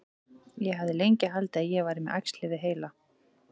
Ég hafði lengi haldið að ég væri með æxli við heila.